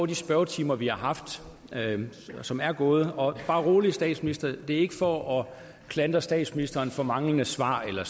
de spørgetimer vi har haft og som er gået og bare rolig statsminister det er ikke for at klandre statsministeren for manglende svar eller